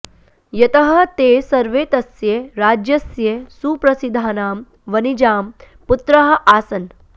यतः ते सर्वे तस्य राज्यस्य सुप्रसिद्धानां वणिजां पुत्राः आसन्